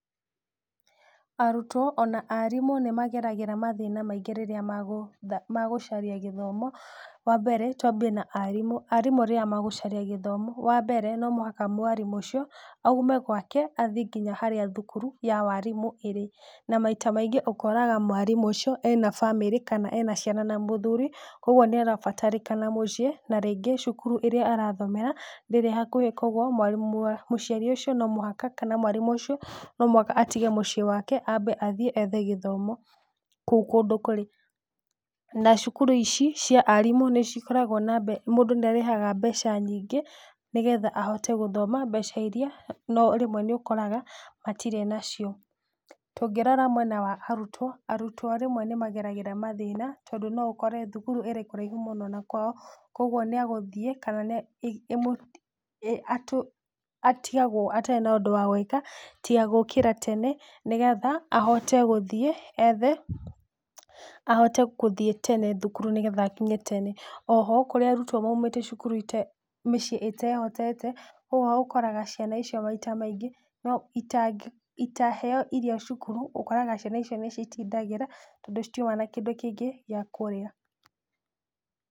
Arutwo ona arimũ nĩmageragĩra mathĩna maingĩ rĩrĩa magũ magũcaria gĩthomo, wambere twambie na arimũ. Arimũ rĩrĩa magũcaria gĩtomo, wambere no mũhaka mwarimũ ũcio, aume gwake athiĩ nginya harĩa thukuru ya warimũ irĩ, na maita maigĩ ũkoraga mwarimũ ũcio ena bamĩrĩ kana ena ciana na mũthuri, ũguo nĩarabatarĩkana mũciĩ, na rĩngĩ cukuru ĩraĩa arathomera ndĩrĩ hakuhĩ, koguo mwarimũ mũciari ũcio no mũhaka kana mwarimũ ũcio no mũhaka atige mũciĩ wake, ambe athiĩ ethe gĩthomo, kũu kũndũ kũrĩ, na cukuru ici cia arimũ nĩcikoragwo na mbe mũndũ nĩarĩhaga mbeca nyingĩ, nĩgetha ahote gũthoma mbeca iria no rĩmwe nĩ ũkoraga matirĩ nacio. Tũngĩrora mwena wa arutwo, arutwo rĩmwe nĩmageragĩra mathĩna tondũ rĩmwe no ũkore thukuru ĩrĩ kũraihũ mũno na kwao, koguo nĩagũthiĩ, kana nĩ atũ atigagwo atarĩ na ũndũ wa gwĩka tiga gũkĩra tene, nĩgetha, ahote gũthiĩ ethe, ahote kũthiĩ tene thukuru nĩgetha akinye tene. Oho kũrĩ arutwo maumĩte cukuru mĩciĩ ĩtehotete, ũguo ũkoraga ciana icio maita maingĩ itangĩ itaheo irio cukuru, ũkoraga ciana icio nĩcitindagĩra, tondũ citiũma na kindũ kĩngĩ gĩa kũrĩa.